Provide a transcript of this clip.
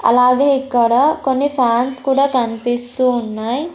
అలాగే ఇక్కడ కొన్ని ఫాన్స్ కూడా కనిపిస్తూ ఉన్నాయి.